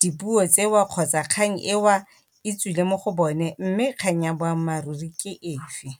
dipuo tsewa kgotsa kgang e wa e tswile mo go bone, mme kgang ya boammaruri ke e fe.